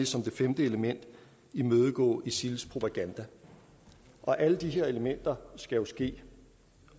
som det femte element imødegå isils propaganda alle de her elementer skal jo ske